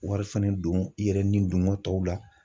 Wari fana don i yɛrɛ ni dongɔ tɔw la